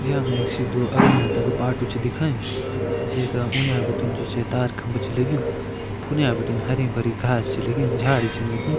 यामे सिद्धू अगन्या तक बाटू छा दिख्यां जेका उन्यां भिटिन जो छै तार खम्बा छै लगयूं फुने भिटिन हरिं-भरिं घास छा लगीं झाडी छन लगीं।